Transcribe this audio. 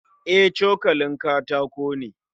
E, cokalin katako ne